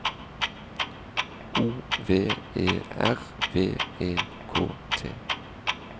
O V E R V E K T